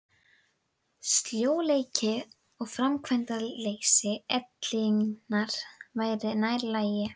Sljóleiki og framkvæmdaleysi ellinnar væri nær lagi.